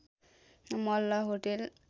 Malla hotel